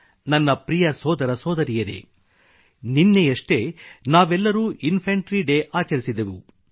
ನನ್ನ ಪ್ರಿಯ ಸೋದರ ಸೋದರಿಯರೇ ನೆನ್ನೆಯಷ್ಟೇ ನಾವೆಲ್ಲರೂ ಇನ್ಫಂಟ್ರಿ ಡೇ ಆಚರಿಸಿದೆವು